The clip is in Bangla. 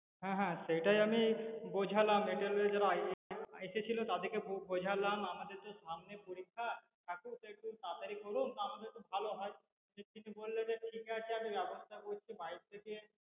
হ্যা হ্যা সেটাই আমি বোঝালাম এদের যারা এসেছিল তাদের কে বোঝালাম আমাদের তো সামনে পরীক্ষা, একটু তাড়াতাড়ি করুন তাহলে একটু ভালো হয় তিনি বললেন আমি ব্যবস্থা করছি বাইরে থেকে